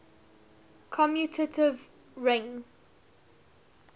commutative ring